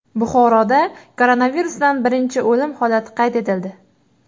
Buxoroda koronavirusdan birinchi o‘lim holati qayd etildi.